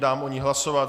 Dám o ní hlasovat.